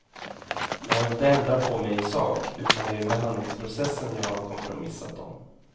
Jag har inte ändrat på mig i sak, utan det är behandlingsprocessen jag har kompromissat om.